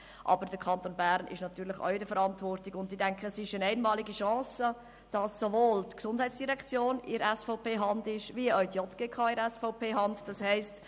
Aber der Kanton Bern ist natürlich auch in der Verantwortung, und ich denke, es ist eine einmalige Chance, dass sowohl die GEF als auch die JGK in SVP-Hand sind.